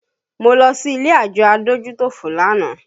Mo lọ sí ilé àjọ adójútòfò lánàá